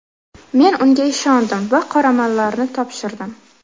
Men unga ishondim va qoramollarni topshirdim.